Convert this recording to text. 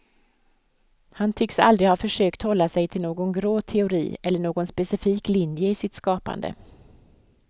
Han tycks aldrig ha försökt hålla sig till någon grå teori eller någon specifik linje i sitt skapande.